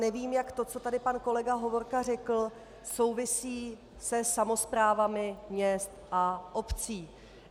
Nevím, jak to, co tady pan kolega Hovorka řekl, souvisí se samosprávami měst a obcí.